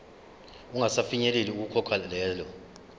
ungasafinyeleli ukukhokha lelo